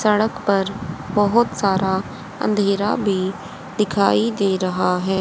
सड़क पर बहोत सारा अंधेरा भी दिखाई दे रहा है।